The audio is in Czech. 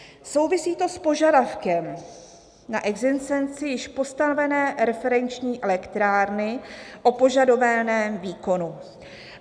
Souvisí to s požadavkem na existenci již postavené referenční elektrárny o požadovaném výkonu."